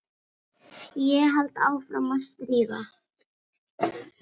Ég held áfram að stríða.